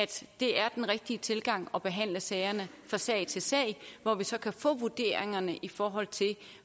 det er den rigtige tilgang at behandle sagerne fra sag til sag hvor vi så kan få vurderingerne i forhold til